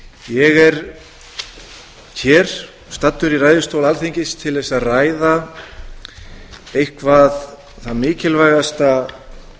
ég er hér staddur í ræðustól alþingis til þess að ræða eitthvað það mikilvægasta